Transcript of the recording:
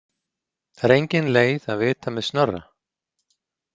Það er engin leið að vita með Snorra.